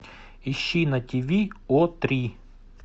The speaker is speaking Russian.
ищи на тв о три